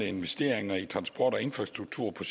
investere i transport og infrastruktur